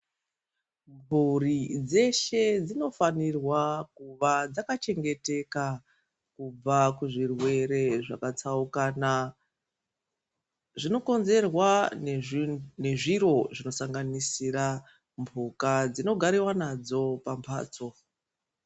Mburi dzeshe dzinova dzakachengeteka kubva kuzvirwere zvakatsaukana zvinokonzerwa nezviri zvinosanganisira mbuka dzinogariwa nadzo pambatso.